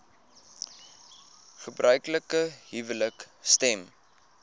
gebruiklike huwelike stem